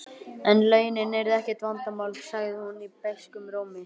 En launin yrðu ekkert vandamál, sagði hún beiskum rómi.